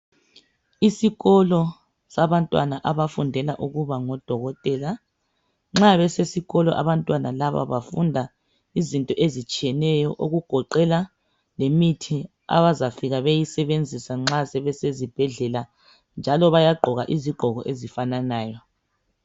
Isikolo sabantwana abafungela ukuba ngodokotela nxa besesikolo abantwana laba bafunda izinto ezitshiyeneyo okugoqela lemithi abazafika beyisebenzisa nxa besezibhedlela njalo bayagqoka izigqoko ezifananayo.